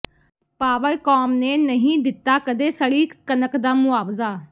Powercom ਨੇ ਨਹੀਂ ਦਿੱਤਾ ਕਦੇ ਸੜੀ ਕਣਕ ਦਾ ਮੁਆਵਜ਼ਾ